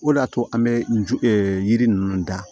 O de y'a to an bɛ je yiri ninnu dan